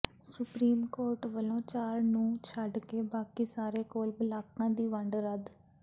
supreme court ਵੱਲੋਂ ਚਾਰ ਨੂੰ ਛੱਡ ਕੇ ਬਾਕੀ ਸਾਰੇ ਕੋਲ ਬਲਾਕਾਂ ਦੀ ਵੰਡ ਰੱਦ